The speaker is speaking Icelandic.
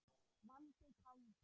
Valdi kaldi.